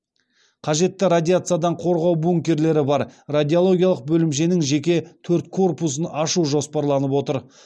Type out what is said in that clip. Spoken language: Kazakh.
қажетті радиациядан қорғау бункерлері бар радиологиялық бөлімшенің жеке төрт корпусын ашу жоспарланып отыр